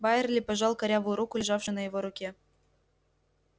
байерли пожал корявую руку лежавшую на его руке